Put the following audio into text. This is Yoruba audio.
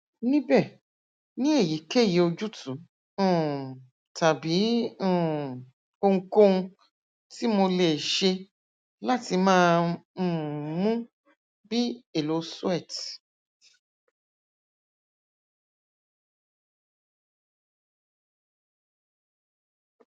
nibẹ ni eyikeyi ojutu um tabi um ohunkohun ti mo le ṣe lati ma um mu bi elo sweat